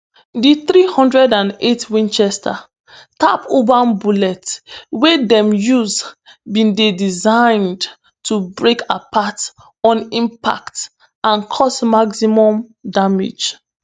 di three hundred and eight winchester tap urban bullets wey dem use bin dey designed to break apart on impact and cause maximum damage